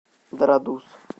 дорадус